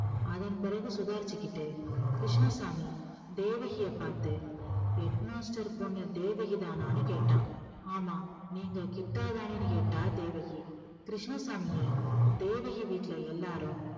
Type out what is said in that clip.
அதன் பிறகு சுதாரிச்சுக்கிட்டு கிருஷ்ணசாமி தேவகியைப் பார்த்து head master பொண்ணு தேவகிதானான்னு கேட்டான் ஆமா நீங்க கிட்டாதானேன்னு கேட்டா தேவகி கிருஷ்ணசாமியை தேவகி வீட்டுல எல்லாரும்